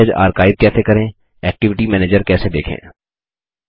message archive कैसे करें activity manager कैसे देखें